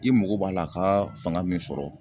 I mago b'a la a ka fanga min sɔrɔ